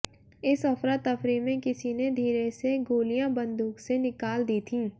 इस अफरा तफरी में किसी ने धीरे से गोलियां बंदूक से निकाल दी थीं